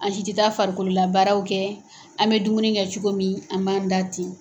An si tɛ taa farikolo labaaraw kɛ an mɛ dumuni kɛ cogo min an m'an da ten.